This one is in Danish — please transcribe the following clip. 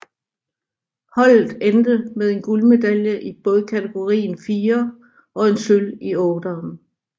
Holdet endte med en guldmedalje i bådkategorien firer og en sølv i otteren